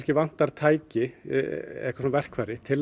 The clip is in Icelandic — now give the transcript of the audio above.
vantar tæki eða verkfæri til